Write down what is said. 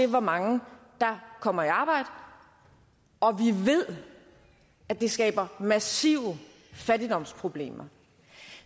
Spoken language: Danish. hvor mange der kommer i arbejde og vi ved at det skaber massive fattigdomsproblemer